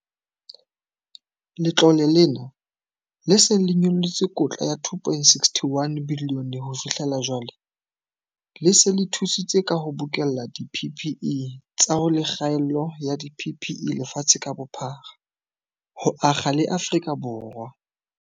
Letlole lena, le seng le nyollotse kotla ya R2.61 bilione ho fi hlela jwale, le se le thusitse ka ho bokella di-PPE tsa ho le kgaello ya di-PPE lefatshe ka bophara, ho akga le Afrika Borwa.